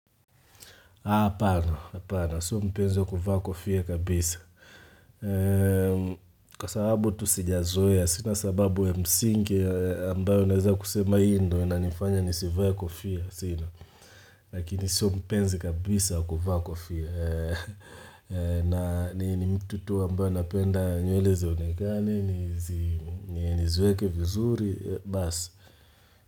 Hapana, hapana. Sio mpenzi wa kuvaa kofia kabisa. Kwa sababu tu sijazoea, sinasababu ya msingi ambayo naweza kusema hii ndo, inanifanya nisivae kofia. Lakini sio mpenzi kabisa wa kuvaa kofia. Na ni mtu tu ambayo napenda nywele zionekani, niziweke vizuri, basi.